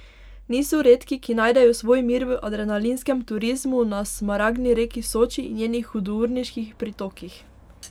Niso redki, ki najdejo svoj mir v adrenalinskem turizmu na smaragdni reki Soči in njenih hudourniških pritokih.